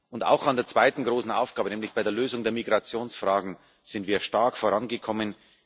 Und auch bei der zweiten großen Aufgabe, nämlich bei der Lösung der Migrationsfrage, sind wir stark vorangekommen.